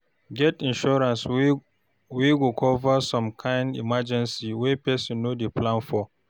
Get insurance wey go cover some kind emergencies wey person no dey plan for